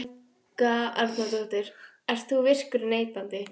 Helga Arnardóttir: Ert þú virkur neytandi?